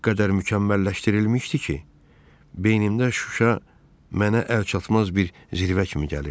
O qədər mükəmməlləşdirilmişdi ki, beynimdə Şuşa mənə əlçatmaz bir zirvə kimi gəlirdi.